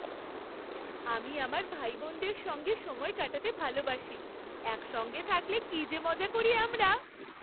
আমি আমার ভাইবোনদের সঙ্গে সময় কাটাতে ভালোবাসি। একসঙ্গে থাকলে কি যে মজা করি আমরা!